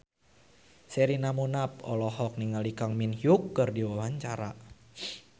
Sherina Munaf olohok ningali Kang Min Hyuk keur diwawancara